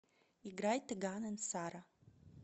играй тэган энд сара